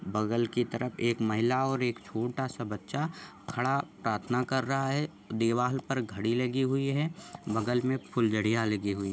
बगल की तरफ एक महिला और एक छोटा सा बच्चा खड़ा प्राथना कर रहा है दीवाल पर घडी लही हुई है बगल की तरफ फुलझड़ियाँ लगी हुई है।